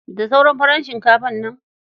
Da sauran farar shinkafar nan?